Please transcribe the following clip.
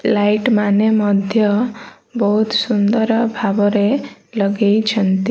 Light ମାନେ ମଧ୍ୟ ବହୁତ ସୁନ୍ଦର ଭାବରେ ଲଗେଇଛନ୍ତି।